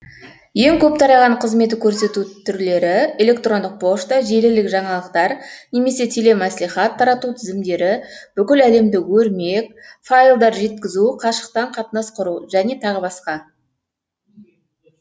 тараған қызмет көрсету түрлері электрондық пошта желілік жаңалықтар немесе телемәслихат тарату тізімдері бүкіл әлемдік өрмек файлдар жеткізу қашықтан қатынас құру жөне тағы басқа